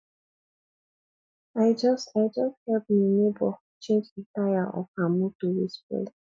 i just i just help me nebor change di taya of her motor wey spoil